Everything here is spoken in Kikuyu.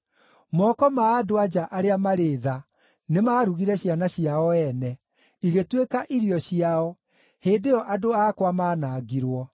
Moko ma andũ-a-nja arĩa marĩ tha nĩmarugire ciana ciao ene, igĩtuĩka irio ciao hĩndĩ ĩyo andũ akwa manangirwo.